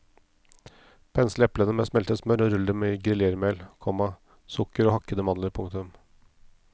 Pensle eplene med smeltet smør og rull dem i griljermel, komma sukker og hakkede mandler. punktum